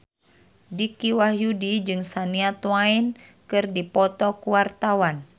Dicky Wahyudi jeung Shania Twain keur dipoto ku wartawan